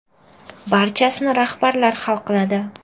Barchasini rahbarlar hal qiladi.